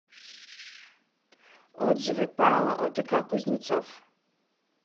отзывы пао одк кузнецов